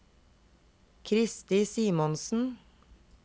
Kristi Simonsen